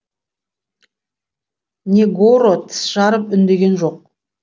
негоро тіс жарып үндеген жоқ